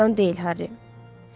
deyil Harry.